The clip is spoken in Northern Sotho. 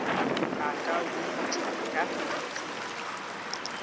a ka bontšhwa ka ditsela